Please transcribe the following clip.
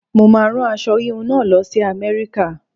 Mo máa rán aṣọ híhun náà lọ sí America.